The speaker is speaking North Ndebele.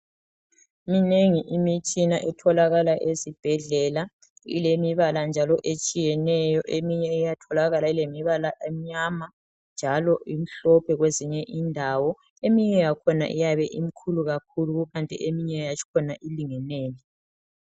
Minengi imitshina etholakala esibhedlela njalo ilemibala etshiyeneyo. Eminye iyabe imnyama njalo imhlophe kwezinye indawo. Eminye iyabe imikhulu kakhulu leminye elingeneyo.